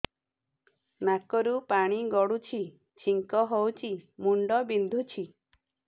ନାକରୁ ପାଣି ଗଡୁଛି ଛିଙ୍କ ହଉଚି ମୁଣ୍ଡ ବିନ୍ଧୁଛି